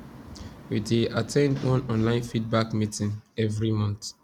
we dey at ten d one online feedback meeting every month